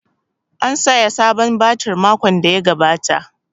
An saya sabon batir makon da ya gabata